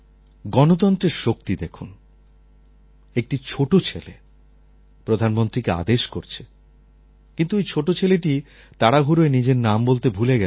গণতন্ত্রের শক্তি দেখুন একটি ছোট ছেলে প্রধানমন্ত্রীকে আদেশ করছে কিন্তু ওই ছোট ছেলেটি তাড়াহুড়োয় নিজের নাম বলতে ভুলে গেছে